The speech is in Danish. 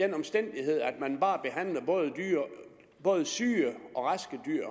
den omstændighed at man bare behandler både syge og raske dyr